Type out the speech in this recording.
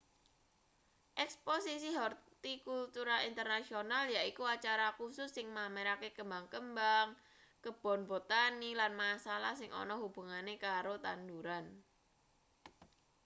eksposisi hortikultura internasional yaiku acara kusus sing mamerake kembang-kembang kebon botani lan masalah sing ana hubungane karo tanduran